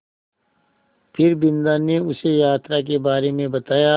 फिर बिन्दा ने उसे यात्रा के बारे में बताया